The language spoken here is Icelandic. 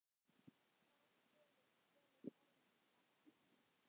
Bjarki, hvað dvelur Orminn langa?